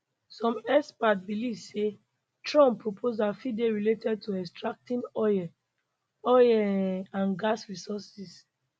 some experts believe say trump proposals fit dey related to extracting oil oil um and gas resources